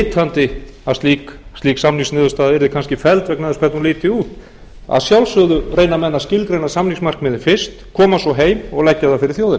vitandi að slík samningsniðurstaða yrði kannski felld vegna þess hvernig hún liti út að sjálfsögðu reyna menn að skilgreina samningsmarkmiðin fyrst koma svo heim og leggja þau fyrir þjóðina